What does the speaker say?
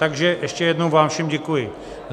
Takže ještě jednou vám všem děkuji.